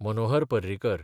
Manohar Parrikar